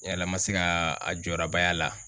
Yala n ma se ka a jɔdaba y'a la.